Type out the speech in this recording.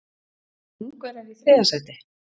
Ungverjar í þriðja sæti?